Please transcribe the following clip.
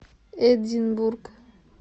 эдинбург